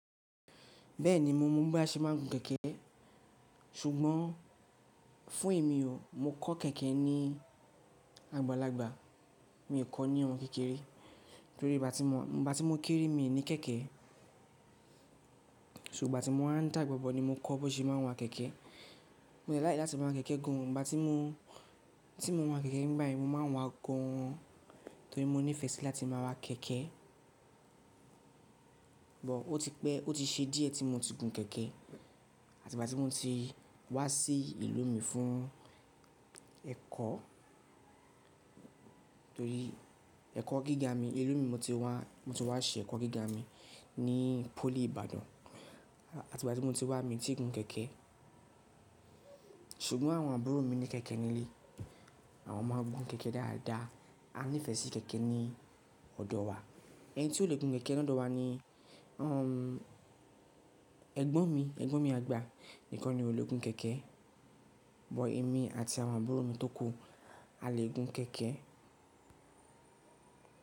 Bẹ́ẹ̀ni, mo mọ bí a ṣe máa ń gun kẹ̀kẹ́ ṣùgbọ́n fún èmi o, mo kọ́ kẹ̀kẹ́ ní agbalagba. Mi ò kọ́ ní ọ̀mọ́ kékeré torí gbá ti mo, gbá ti mo kéré mi ò ní kẹ̀kẹ́. Ṣò gbá ti mowa ń dàgbàbọ̀ ni mo kọ́ bó ṣe máa ń wa kẹ̀kẹ́. Mio láikì láti máa guń kẹ̀kẹ́ gan o, gbá ti mo, tí mo nwa kẹ̀kẹ́ nígbà ẹ mo máa ń wa gan an torí mo nífẹ̀ẹ́ sí láti máa wa kẹ̀kẹ́. Bọ̀ ó ti pẹ́, ó ti ṣe díẹ̀ tí mo ti gun kẹ̀kẹ́ àti gbá ti mo ti wá sí ìlú mi fún ẹ̀kọ́ torí ẹ̀kọ́ gíga mi, ìlú mi mo ti wá, mo ti wá ṣe ẹ̀kọ́ gíga mi ní pólì Ìbàdàn àti gbá ti mo ti wá mi ò tí gun kẹ̀kẹ́. Ṣùgbọ́n àwọn àbúrò mi ní kẹ̀kẹ́ nílé, àwọn máa ń gun kẹ̀kẹ́ dáadáa. A nífẹ̀ẹ́ sí kẹ̀kẹ́ ní ọ̀dọ̀ wa. Ẹni tí ó le gun kẹ̀kẹ́ ní ọ̀dọ̀ wa ni o hun ẹ̀gbọ́n mi, ẹ̀gbọ́n mi àgbà nìkan ni ò le gun kẹ̀kẹ́. Bọ̀ èmi àti àwọn àbúrò mi tó kù á le gun kẹ̀kẹ́